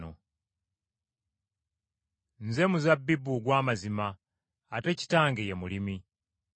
“Nze muzabbibu ogw’amazima, ate Kitange ye mulimi.